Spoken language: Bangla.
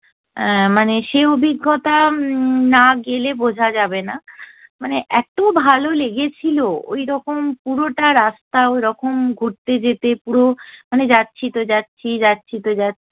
মানে সে অভিজ্ঞতা উম্ম না গেলে বোঝা যাবে না। মানে এতো ভালো লেগেছিলো ওইরকম পুরোটা রাস্তা ওইরকম ঘুরতে যেতে পুরো মানে যাচ্ছি তো যাচ্ছি যাচ্ছি তো যাচ্ছি